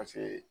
Paseke